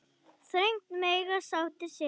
Þröngt mega sáttir sitja.